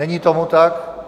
Není tomu tak.